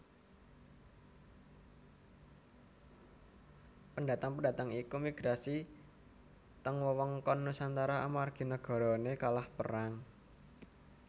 Pendatang pendatang iku migrasi teng wewengkon Nusantara amargi nagarane kalah perang